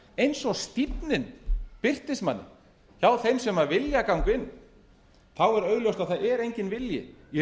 eins og stífnin birtist manni hjá þeim sem vilja ganga inn þá er augljóst að það er enginn vilji í